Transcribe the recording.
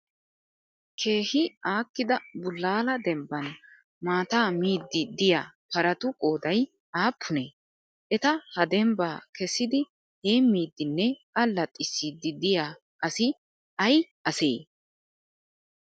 Keehi aakkida bullaala dembban maataa miiddi diyaa paratu qoodayi aappunee? Eta ha dembbaa kessidi heemmiddinne allaxissiddi diyaa asi ayi asee?